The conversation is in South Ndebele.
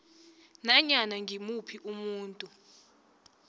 nanyana ngimuphi umuntu